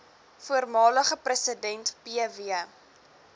voormalige president pw